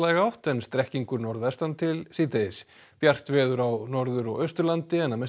átt en strekkingur norðvestan til síðdegis bjart veður á Norður og Austurlandi en að mestu